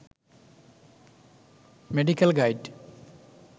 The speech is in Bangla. medical guide